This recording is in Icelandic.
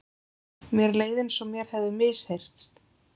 Mér leið einsog mér hefði misheyrst.